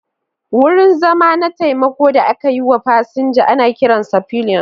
Wurin zama na taimako da aka yi wa fasinja ana kiransa pillion.